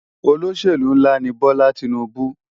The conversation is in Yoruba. Ólóṣélú nlá ni Bola Tinubu